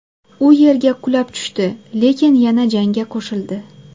U yerga qulab tushdi, lekin yana jangga qo‘shildi.